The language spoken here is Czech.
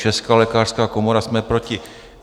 Česká lékařská komora: Jsme proti.